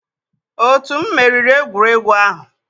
otu m meriri egwuregwu ahụ.